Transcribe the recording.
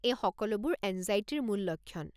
এই সকলোবোৰ এঙ্জাইটিৰ মূল লক্ষণ।